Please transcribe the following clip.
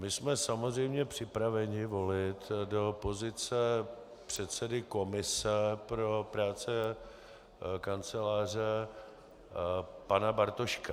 My jsme samozřejmě připraveni volit do pozice předsedy komise pro práci Kanceláře pana Bartoška.